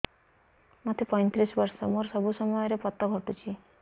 ମୋତେ ପଇଂତିରିଶ ବର୍ଷ ମୋର ସବୁ ସମୟରେ ପତ ଘଟୁଛି